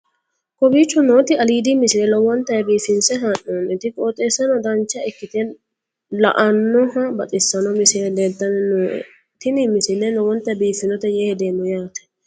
kowicho nooti aliidi misile lowonta biifinse haa'noonniti qooxeessano dancha ikkite la'annohano baxissanno misile leeltanni nooe ini misile lowonta biifffinnote yee hedeemmo yaate